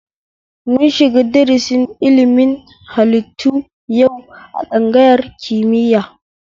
Mun shiga darasi na ilimin haliitu yau a tsangayar kimiya